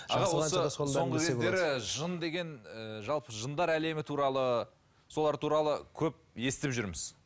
жын деген ы жалпы жындар әлемі туралы солар туралы көп естіп жүрміз